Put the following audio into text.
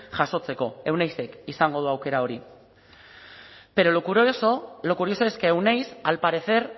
jasotzeko euneizek izango du aukera hori pero lo curioso lo curioso es que euneiz al parecer